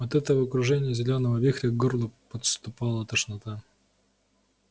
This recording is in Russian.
от этого кружения зелёного вихря к горлу подступала тошнота